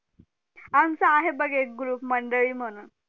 आमचा आहे बघ एक group मंडळी म्हणून